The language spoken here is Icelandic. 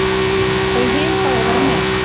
Þau hin fá að vera með.